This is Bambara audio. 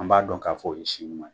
An b'a dɔn k'a fɔ, o ye si ɲuman ye.